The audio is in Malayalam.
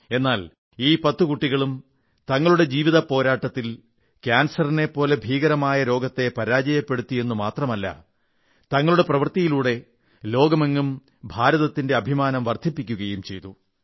എന്നാൽ ഈ പത്തു കൂട്ടികളും തങ്ങളുടെ ജീവിത പോരാട്ടത്തിൽ കാൻസറിനെ പോലെ മാരകമായ രോഗത്തെ പരാജയപ്പെടുത്തി എന്നു മാത്രമല്ല തങ്ങളുടെ പ്രവൃത്തിയിലൂടെ ലോകമെങ്ങും ഭാരതത്തിന്റെ അഭിമാനം വർധിപ്പിക്കുകയും ചെയ്തു